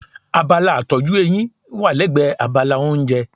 Abala ìtọ́jú eyín wà lẹ́gbẹ̀ẹ́ abala oúnjẹ.